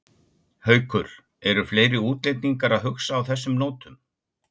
Haukur: Eru fleiri útlendingar að hugsa á þessum nótum?